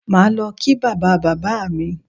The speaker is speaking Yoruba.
Màá lọ kí bàbá bàbá mi